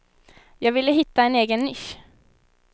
Jag ville hitta en egen nisch.